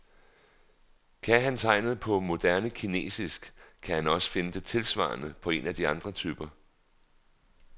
Kan han tegnet på moderne kinesisk, kan han også finde det tilsvarende på en af de andre typer.